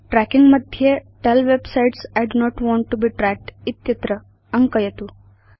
trekking मध्ये tell web sites I do not want to be tracked इत्यत्र अङ्कयतु